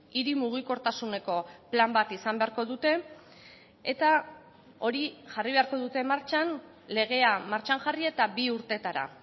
hiri mugikortasuneko plan bat izan beharko dute eta hori jarri beharko dute martxan legea martxan jarri eta bi urtetara